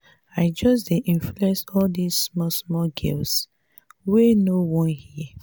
i just dey influence all dis small small girls wey no wan hear.